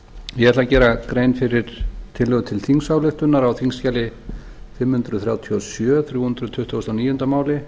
ég ætla að gera grein fyrir tillögu til þingsályktunar á þingskjali fimm hundruð þrjátíu og sjö þrjú hundruð tuttugustu og níunda máli